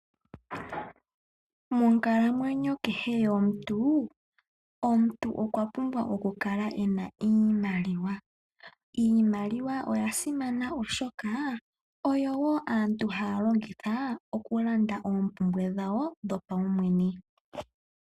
Monkalamwenyo yomuntu, omuntu kehe okwa pumbwa oku kala ena iimaliwa. Iimaliwa oya simana, oshoka oyo wo aantu haya longitha oku landa oompumbwe dhawo dho pawumwene.